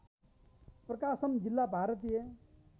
प्रकाशम जिल्ला भारतीय